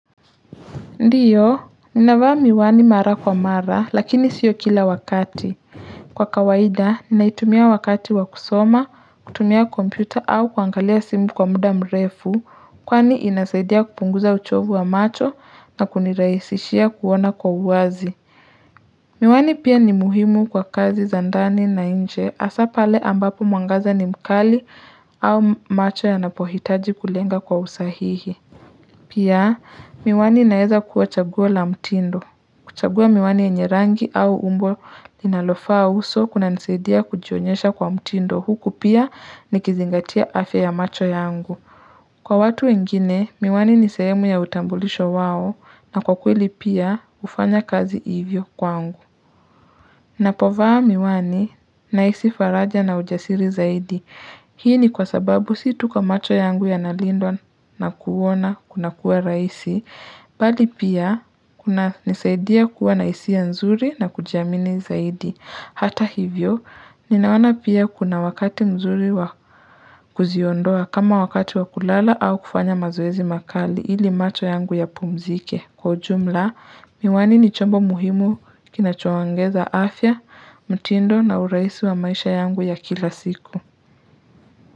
Ndiyo, ninavaa miwani mara kwa mara lakini sio kila wakati. Kwa kawaida, ninaitumia wakati wa kusoma, kutumia kompyuta au kuangalia simu kwa muda mrefu, kwani inasaidia kupunguza uchovu wa macho na kunirahisishia kuona kwa uwazi. Miwani pia ni muhimu kwa kazi za ndani na nje hasa pale ambapo mwangaza ni mkali au macho yanapohitaji kulenga kwa usahihi. Pia, miwani inaeza kuwa chagua la mtindo. Kuchagua miwani yenye rangi au umbo inalofaa uso kunanisadia kujionyesha kwa mtindo. Huku pia nikizingatia afya ya macho yangu. Kwa watu wengine, miwani ni sehemu ya utambulisho wao na kwa kweli pia hufanya kazi hivyo kwangu. Ninapovaa miwani nahisi faraja na ujasiri zaidi. Hii ni kwa sababu si tu kwa macho yangu yanalindwa na kuona kuna kuwa rahisi, bali pia kunanisaidia kuwa na hisia nzuri na kujamini zaidi. Hata hivyo, ninaona pia kuna wakati mzuri wa kuziondoa kama wakati wa kulala au kufanya mazoezi makali ili macho yangu yapumzike. Kwa ujumla, miwani ni chombo muhimu kinachoongeza afya, mtindo na urahisi wa maisha yangu ya kila siku.